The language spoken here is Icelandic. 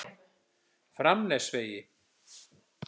Framnesvegi